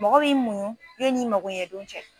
Mɔgɔ b'i muɲu yenni i mago ɲɛ don cɛ.